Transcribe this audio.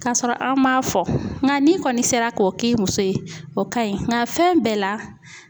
Ka sɔrɔ an m'a fɔ nka n'i kɔni sera k'o k'i muso ye o ka ɲi nka fɛn bɛɛ la